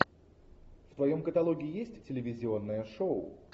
в твоем каталоге есть телевизионное шоу